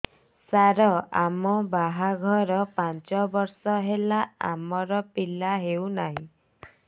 ସାର ଆମ ବାହା ଘର ପାଞ୍ଚ ବର୍ଷ ହେଲା ଆମର ପିଲା ହେଉନାହିଁ